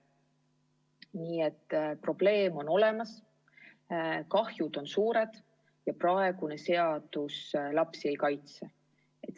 Nii et probleem on olemas, kahjud on suured ja praegune seadus lapsi ei kaitse.